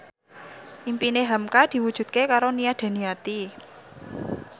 impine hamka diwujudke karo Nia Daniati